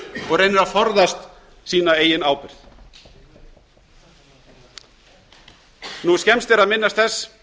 og reynir að forðast sína eigin ábyrgð fremst er að minnast þess